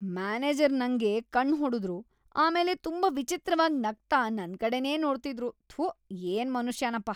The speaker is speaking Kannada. ಮ್ಯಾನೇಜರ್ ನಂಗೆ ಕಣ್ಣ್ ಹೊಡುದ್ರು, ಆಮೇಲೆ ತುಂಬಾ ವಿಚಿತ್ರವಾಗಿ ನಗ್ತಾ ನನ್ಕಡೆನೇ ನೋಡ್ತಿದ್ರು.. ಥು, ಏನ್‌ ಮನುಷ್ಯನಪ.